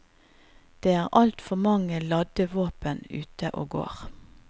Det er altfor mange ladde våpen ute og går.